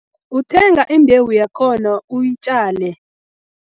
Uthenga imbewu yakhona uyitjale.